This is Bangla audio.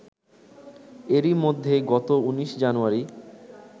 এরই মধ্যে গত ১৯ জানুয়ারি